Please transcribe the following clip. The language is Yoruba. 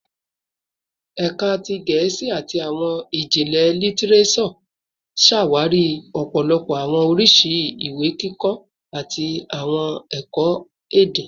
Ẹka ti Gẹẹsi ati Awọn Ijinlẹ Litireso ṣawari ọpọlọpọ awọn oriṣi iwe-kikọ ati awọn ẹkọ-ede